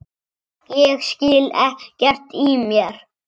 Ég skil ekkert í mér